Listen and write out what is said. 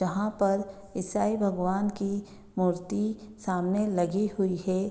यहाँ पर ईसाई भगवान की मूर्ति सामने लगी हुई है।